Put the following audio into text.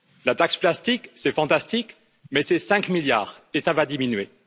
La taxe plastique, c'est fantastique, mais c'est 5 milliards, et ça va diminuer.